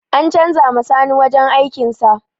An canza ma sani wajen aikin sa